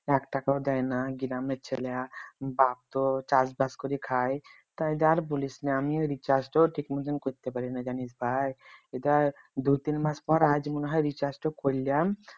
এক টাকাও দেয় না গ্রামের ছেলা বাপ তো চাষবাস করে খাই তা এইডা আর বলিস না আমিও recharge তো ঠিক মতন করতে পারি না জানিস ভাই এইডা দু-তিন মাস পরে আজ মনে হয় recharge টা করলাম